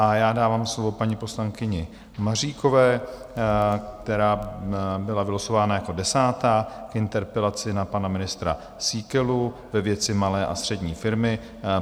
A já dávám slovo paní poslankyni Maříkové, která byla vylosována jako desátá, k interpelaci na pana ministra Síkelu ve věci Malé a střední firmy.